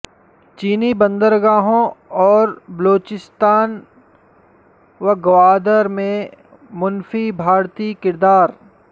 چینی بندرگاہوں اور بلوچستان و گوادر میں منفی بھارتی کردار